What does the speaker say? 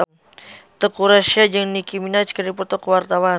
Teuku Rassya jeung Nicky Minaj keur dipoto ku wartawan